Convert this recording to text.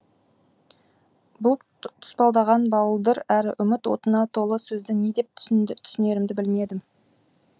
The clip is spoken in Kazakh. бұл тұспалдаған буалдыр әрі үміт отына толы сөзді не деп түсінерімді білмедім